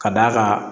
Ka d'a kan